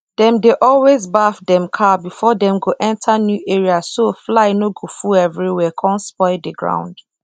dem dey always baff dem cow before dem go enter new area so fly no go full everywhere con spoil the ground